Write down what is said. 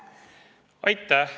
Aitäh!